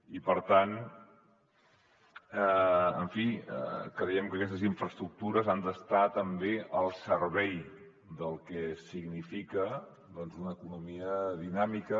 i per tant en fi creiem que aquestes infraestructures han d’estar també al servei del que significa doncs una economia dinàmica